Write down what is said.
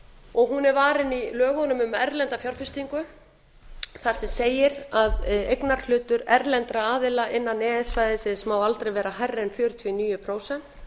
og hún er varin í lögunum um erlenda fjárfestingu þar sem segir að eignarhlutur erlendra aðila innan e e s svæðisins má aldrei vera hærri en fjörutíu og níu prósent